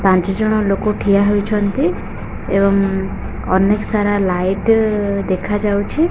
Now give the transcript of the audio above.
ପାଞ୍ଚ ଜଣ ଲୋକ ଠିଆ ହୋଇଛନ୍ତି ଏବଂ ଅନେକ ସାରା ଲାଇଟ୍ ଦେଖା ଯାଉଛି।